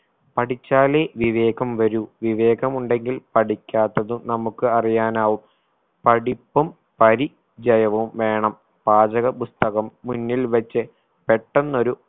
പഠിച്ചാലേ വിവേകം വരൂ വിവേകമുണ്ടെങ്കിൽ പഠിക്കാത്തതും നമുക്ക് അറിയാനാവും പഠിപ്പും പരി ചയവും വേണം പാചക പുസ്തകം മുന്നിൽ വെച്ച് പെട്ടെന്നൊരു